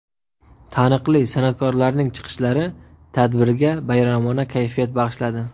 Taniqli san’atkorlarning chiqishlari tadbirga bayramona kayfiyat bag‘ishladi.